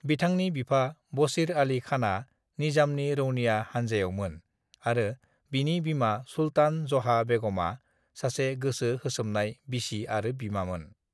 बिथांनि बिफा बशीर आलि खाना निजामनि रौनिया हानजायावमोन आरो बिनि बिमा सुल्तान जहा बेग'मा सासे गोसो होसोमनाय बिसि आरो बिमामोन।